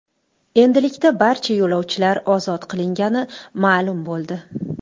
Endilikda barcha yo‘lovchilar ozod qilingani ma’lum bo‘ldi.